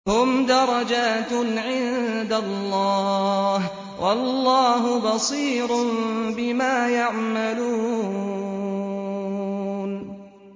هُمْ دَرَجَاتٌ عِندَ اللَّهِ ۗ وَاللَّهُ بَصِيرٌ بِمَا يَعْمَلُونَ